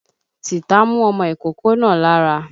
Tìta mú ọmọ ìkókó náà lára.